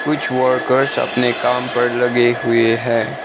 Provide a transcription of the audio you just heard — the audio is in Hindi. कुछ वर्कर्स अपने काम पर लगे हुए हैं।